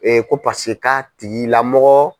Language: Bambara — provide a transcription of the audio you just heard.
ko paseke k'a tigi lamɔgɔ